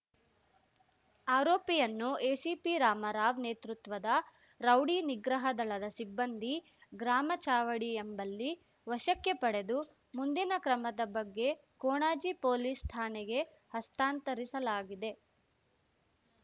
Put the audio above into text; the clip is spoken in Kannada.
ಆರೋಪಿಯನ್ನು ಎಸಿಪಿ ರಾಮರಾವ್ ನೇತೃತ್ವದ ರೌಡಿ ನಿಗ್ರಹ ದಳದ ಸಿಬ್ಬಂದಿ ಗ್ರಾಮ ಚಾವಡಿ ಎಂಬಲ್ಲಿ ವಶಕ್ಕೆ ಪಡೆದು ಮುಂದಿನ ಕ್ರಮದ ಬಗ್ಗೆ ಕೊಣಾಜೆ ಪೊಲೀಸ್ ಠಾಣೆಗೆ ಹಸ್ತಾಂತರಿಸಲಾಗಿದೆ